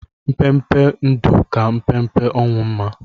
Mpempe ndụ ka mpempe ọnwụ mma